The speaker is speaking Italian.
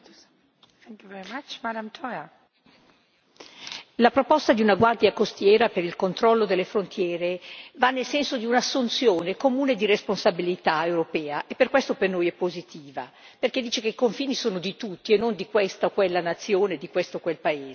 Signora Presidente, onorevoli colleghi, la proposta di una Guardia costiera per il controllo delle frontiere va nel senso di un'assunzione comune di responsabilità europea e per questo per noi è positiva, perché dice che i confini sono di tutti e non di questa o quella nazione, di questo o quel paese.